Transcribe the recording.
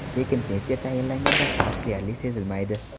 Lekin pensiya tayinlanganda farq deyarli sezilmaydi.